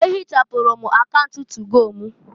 E hịchapụrụ m akaunt tugo m.